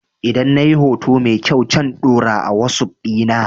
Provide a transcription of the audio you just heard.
Idan na yi hoto mai kyau can ɗora a wasuf dina